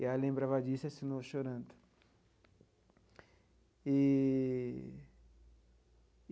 E ela lembrava disso e assinou chorando eee.